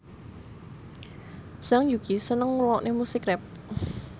Zhang Yuqi seneng ngrungokne musik rap